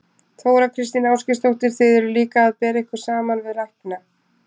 Þóra Kristín Ásgeirsdóttir: Þið eruð líka að bera ykkur saman við lækna?